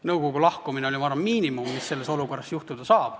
Nõukogu lahkumine oli, ma arvan, miinimum, mis selles olukorras juhtuda sai.